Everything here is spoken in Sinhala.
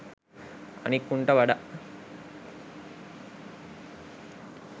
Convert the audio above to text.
අනික් උන්ට වඩා